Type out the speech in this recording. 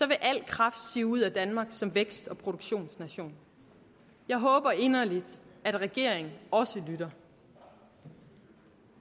vil al kraft sive ud af danmark som vækst og produktionsnation jeg håber inderligt at regeringen også lytter